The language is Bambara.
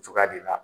Cogoya de la